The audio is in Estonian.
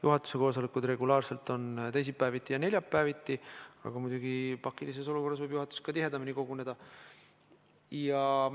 Juhatuse koosolekud toimuvad regulaarselt teisipäeviti ja neljapäeviti, aga pakilises olukorras võib juhatus ka tihedamini koguneda.